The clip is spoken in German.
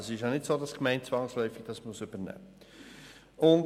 Es ist also nicht so, dass die Gemeinde diese zwangsläufig übernehmen muss.